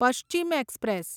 Paschim express